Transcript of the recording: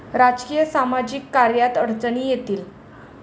राजकीय, सामाजिक कार्यात अडचणी येतील.